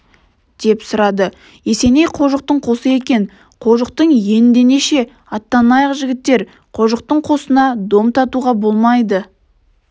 деп сұрады есеней қожықтың қосы екен қожықтың иеендеше аттанайық жігіттер қожықтың қосынан дом татуға болмайды